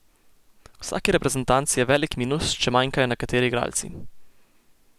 V vsaki reprezentanci je velik minus, če manjkajo nekateri igralci.